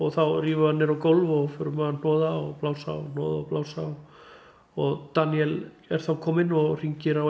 þá rífum við hann niður á gólf og förum að hnoða og blása og hnoða og blása og Daníel er þá kominn og hringir á